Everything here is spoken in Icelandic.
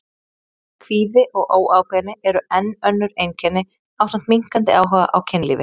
Kvíði og óákveðni eru enn önnur einkenni ásamt minnkandi áhuga á kynlífi.